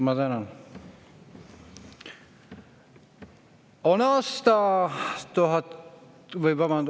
Ma tänan!